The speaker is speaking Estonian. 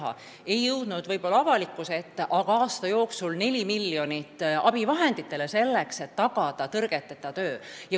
Ja seegi ei jõudnud võib-olla avalikkuse ette, aga aasta jooksul leidsime 4 miljonit eurot abivahendite jaoks, et tagada tõrgeteta töö.